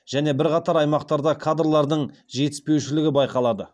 және бірқатар аймақтарда кадрлардың жетіспеушілігі байқалады